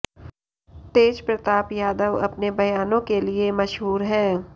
तेजप्रताप यादव अपने बयानों के लिए मशहूर हैं